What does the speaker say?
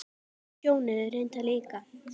Sjóni reyndar líka.